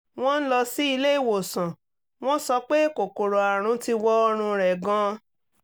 wọ́n lọ sí ilé ìwòsàn wọ́n sọ pé kòkòrò àrùn ti wọ ọ̀rùn rẹ̀ gan-an